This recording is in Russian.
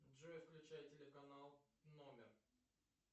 джой включай телеканал номер